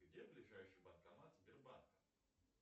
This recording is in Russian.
где ближайший банкомат сбербанка